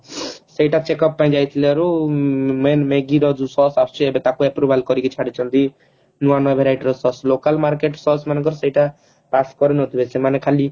ସେଟା checkup ଯାଇଥିଲାରୁ main Maggie ର ଯୋଉ Sause ଆସୁଛି ଯୋଉଟା ତାକୁ approval କରିକି ଛାଡିଛନ୍ତି ନୂଆ ନୂଆ verity ର Sause local market Sause ମାନଙ୍କର ସେଇଟା pass କରି ନଥିବେ ସେମାନେ ଖାଲି